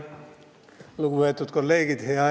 Lugupeetud kolleegid!